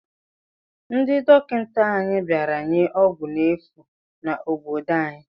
Ndị dọkịta anya bịara nye ọgwụgwọ efu n'obodo anyị.